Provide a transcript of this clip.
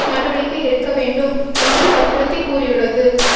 நடவடிக்கை எடுக்க வேண்டும் என்று வற்புறுத்திக் கூறியுள்ளது